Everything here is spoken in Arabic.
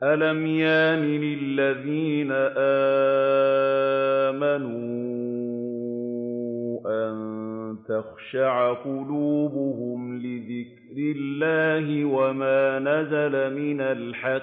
۞ أَلَمْ يَأْنِ لِلَّذِينَ آمَنُوا أَن تَخْشَعَ قُلُوبُهُمْ لِذِكْرِ اللَّهِ وَمَا نَزَلَ مِنَ الْحَقِّ